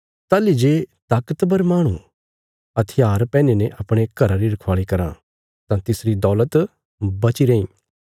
ताहली जे ताकतवर माहणु हथियार पैहनीने अपणे घरा री रखवाल़ी कराँ तां तिसरी दौलत बची रैईं